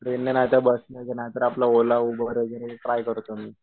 ट्रेनने नाहीतर बसने नाहीतर आपलं ओला, उबेर ट्राय करतो मी.